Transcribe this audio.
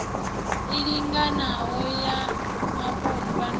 i linganaho ya vhapondwa na